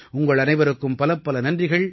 உங்கள் அனைவருக்கும் பலப்பல நன்றிகள்